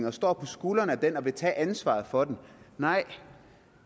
og står på skuldrene af den og vil tage ansvaret for den nej